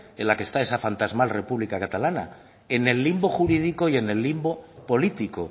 en la que está esa fantasmal república catalana en el limbo jurídico y en el limbo político